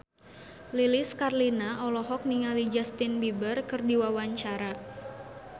Lilis Karlina olohok ningali Justin Beiber keur diwawancara